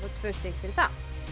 tvö stig fyrir það